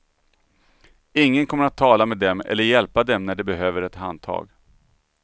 Ingen kommer att tala med dem eller hjälpa dem när de behöver ett handtag.